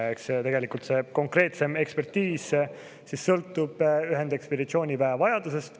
Eks tegelikult konkreetsem ekspertiis sõltub ühendekspeditsiooniväe vajadusest.